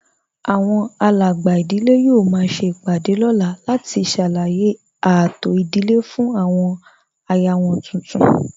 Àwọn alàgbà ìdílé yóò máa ṣe ìpàdé lọ́la láti ṣàlàyé ààtò ìdílé fún àwọn aya wọn tuntun